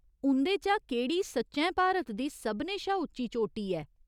उं'दे चा केह्ड़ी सच्चैं भारत दी सभनें शा उच्ची चोटी ऐ ?